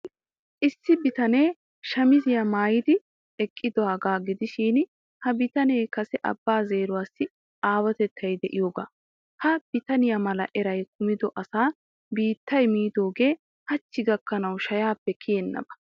Issi bitanee shamiziyaa maayidi eqqidaagaa gidishin, ha bitanee kase Abbaa zeeruwaassi aawatettay de'iyooga. Ha bitaniyaa mala eran kumida asa biittay miidoogee hachchi gakkanashin shayaappe kiyennaba.